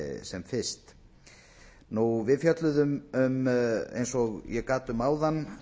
sem fyrst við fjölluðum um eins og ég gat um áðan